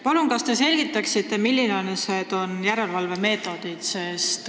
Palun, kas te selgitaksite, millised on järelevalve meetodid?